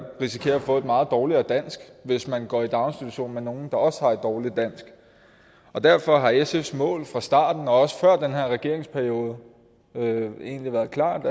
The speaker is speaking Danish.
risikerer at få et meget dårligere dansk hvis man går i daginstitution med nogle der også har et dårligt dansk derfor har sfs mål fra starten og også før den her regeringsperiode egentlig været klart